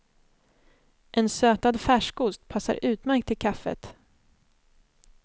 En sötad färskost passar utmärkt till kaffet.